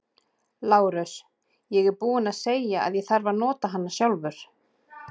LÁRUS: Ég er búinn að segja að ég þarf að nota hana sjálfur.